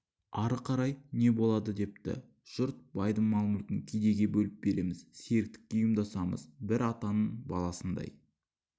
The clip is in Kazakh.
ары қарай не болады депті жұрт байдың мал-мүлкін кедейге бөліп береміз серіктікке ұйымдасамыз бір атаның баласындай